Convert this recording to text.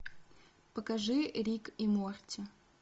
покажи рик и морти